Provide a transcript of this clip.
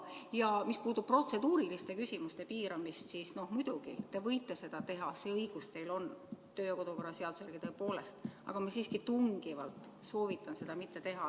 Ja mis puudutab protseduuriliste küsimuste piiramist, siis muidugi te võite seda teha, see õigus teil on kodu- ja töökorra seaduse järgi tõepoolest, aga ma siiski tungivalt soovitan seda mitte teha.